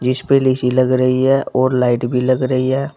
जिस पर लीसी लग रही है और लाइट भी लग रही है।